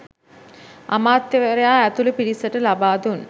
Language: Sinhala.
අමාත්‍යවරයා ඇතුළු පිරිසට ලබාදුන්